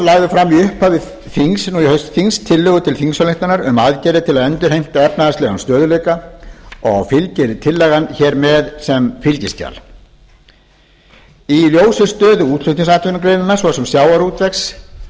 lagði fram í upphafi þings nú í haust tillögu til þingsályktunar um aðgerðir til að endurheimta efnahagslegan stöðugleika og fylgir tillagan hér með sem fylgiskjal í ljósi stöðu útflutningsatvinnugreinanna svo sem sjávarútvegs